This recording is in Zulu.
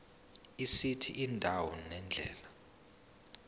esithi indawo nendlela